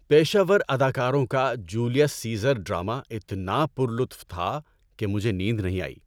پیشہ ور اداکاروں کا جولیس سیزر ڈرامہ اتنا پر لطف تھا کہ مجھے نیند نہیں آئی۔